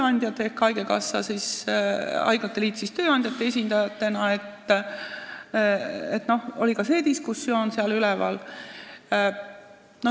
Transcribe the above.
Nii et haigekassa nõukogu ja haiglate liit tööandjate esindajana – ka see diskussioon oli üleval.